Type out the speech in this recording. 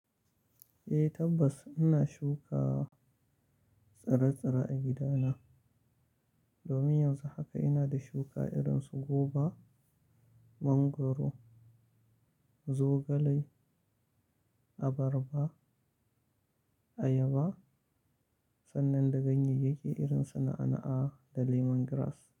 Eh tabbas ina shuka tsire-tsire a gidana. Domin yanzu haka ina da shuka irin su goba, mangwaro, zogale, abarba, ayaba sannan da ganyeyyake irin su na'a'a da lemon grass.